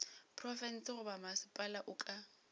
profense goba mmasepala o ka